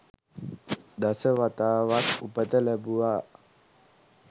දස වතාවක් උපත ලැබුවා.